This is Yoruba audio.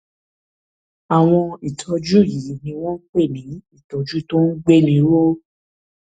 àwọn ìtọjú yìí ni wọn ń pè ní ìtọjú tó ń gbéni ró